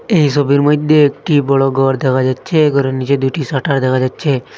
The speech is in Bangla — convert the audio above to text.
এই সোবির মইধ্যে একটি বড় গর দেখা যাচ্ছে গরের নীচে দুইটি শাটার দেখা যাচ্ছে।